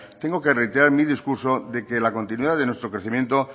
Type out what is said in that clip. tengo que reiterar mi discurso de que la continuidad de nuestro crecimiento